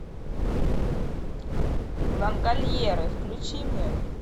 лангольеры включи мне